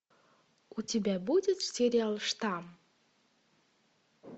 у тебя будет сериал штамм